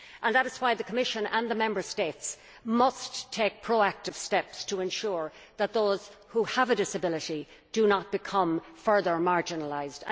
That is why the Commission and the Member States must take pro active steps to ensure that those who have a disability do not become further marginalised.